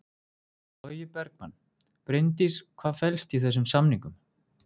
Logi Bergmann: Bryndís hvað felst í þessum samningum?